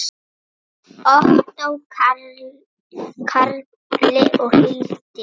Ottó Karli og Hildi Ýr.